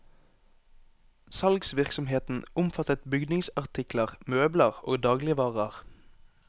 Salgsvirksomheten omfattet bygningsartikler, møbler og dagligvarer.